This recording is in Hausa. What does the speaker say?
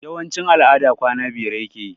Yawanci al'ada kwana biyar yake yi